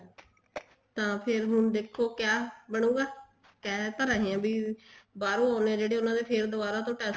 ਤਾਂ ਫ਼ੇਰ ਹੁਣ ਦੇਖੋ ਕਿਆ ਬਣੁਗਾ ਕਹਿ ਤਾਂ ਰਹੇ ਆ ਵੀ ਬਾਹਰੋਂ ਆਉਂਦੇ ਆ ਜਿਹੜੇ ਉਹਨਾ ਦੇ ਫ਼ੇਰ ਦੁਬਾਰਾ ਤੋਂ test